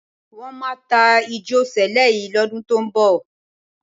Wọ́n máa ta ìjọ Sẹ̀lẹ́ yìí lọ́dún tó ń bọ̀.